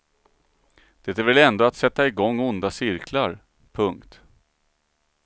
Det är väl ändå att sätta i gång onda cirklar. punkt